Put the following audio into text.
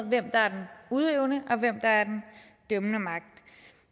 hvem der er den udøvende og hvem der er den dømmende magt